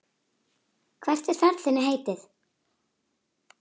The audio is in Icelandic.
Hvert er ferð þinni heitið?